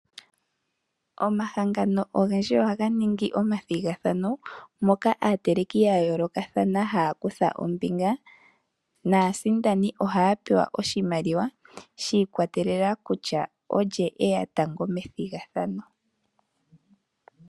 Omahangano ogendji ohaga ningi omathigathano moka aateleki ya yoolokathana haya kutha ombinga naasindani ohaya pewa oshimaliwa shi ikwatelela kutya olye eya tango methigathano.